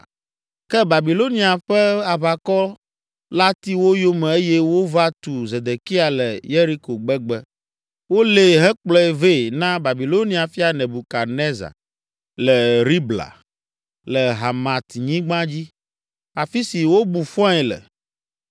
Ke Babilonia ƒe aʋakɔ la ti wo yome eye wova tu Zedekia le Yeriko gbegbe. Wolée hekplɔe vɛ na Babilonia fia Nebukadnezar, le Ribla, le Hamatnyigba dzi, afi si wobu fɔe le.